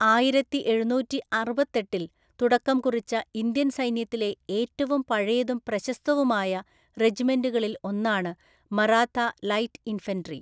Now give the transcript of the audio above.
ആയിരത്തിഎഴുനൂറ്റിഅറുപത്തെട്ടില്‍ തുടക്കംകുറിച്ച, ഇന്ത്യൻ സൈന്യത്തിലെ ഏറ്റവും പഴയതും പ്രശസ്തവുമായ റെജിമെന്റുകളിൽ ഒന്നാണ് 'മറാത്ത ലൈറ്റ് ഇൻഫൻട്രി'.